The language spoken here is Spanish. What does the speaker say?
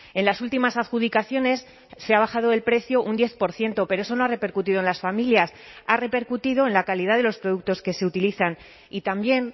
en las últimas adjudicaciones se ha bajado el precio un diez por ciento pero eso no ha repercutido en las familias ha repercutido en la calidad de los productos que se utilizan y también